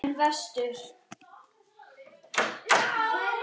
En vestur?